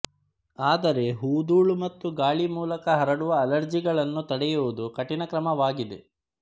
ಆದರೆ ಹೂಧೂಳು ಮತ್ತು ಗಾಳಿ ಮೂಲಕ ಹರಡುವ ಅಲರ್ಜಿಗಳನ್ನು ತಡೆಯುವುದು ಕಠಿಣ ಕಾರ್ಯವಾಗಿದೆ